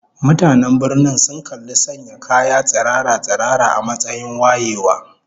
Mutanen birnin sun kalli sanya kaya tsirara-tsirara a matsayin wayewa